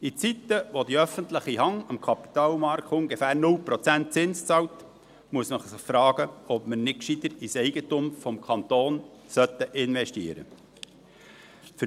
In Zeiten, in denen die öffentliche Hand am Kapitalmarkt ungefähr 0 Prozent Zinsen bezahlt, muss man sich fragen, ob wir nicht besser ins Eigentum des Kantons investieren sollten.